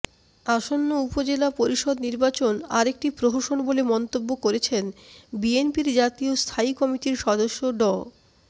আসন্ন উপজেলা পরিষদ নির্বাচন আরেকটি প্রহসন বলে মন্তব্য করেছেন বিএনপির জাতীয় স্থায়ী কমিটির সদস্য ড